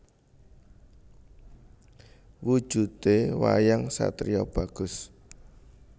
Wujudé wayang satriya bagus